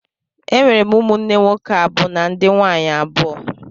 E nwere m ụmụnne nwoke abụ na ndị nwaanyị abụọ.